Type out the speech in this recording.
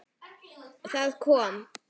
Það kom